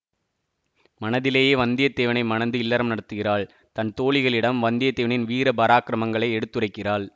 மனதிலேயே வந்தியத்தேவனை மணந்து இல்லறம் நடத்துகிறாள் தன் தோழிகளிடம் வந்தியத்தேவனின் வீர பராக்கரமங்களை எடுத்துரைக்கிறாள்